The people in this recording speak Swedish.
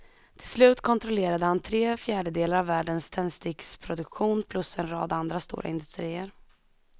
Till slut kontrollerade han tre fjärdedelar av världens tändsticksproduktion plus en rad andra stora industrier.